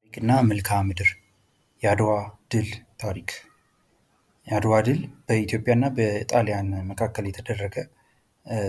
ታሪክና መልክአምድር የአድዋ ድል ታሪክ የአድዋ ድል በኢትዮጵያና በጣሊያን መካከል የተደረገ